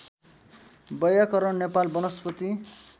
वैयाकरण नेपाल वनस्पति